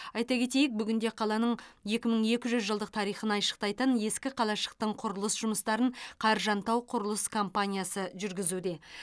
айта кетейік бүгінде қаланың екі мың екі жүз жылдық тарихын айшықтайтын ескі қалашықтың құрылыс жұмыстарын қаржан тау құрылыс компаниясы жүргізуде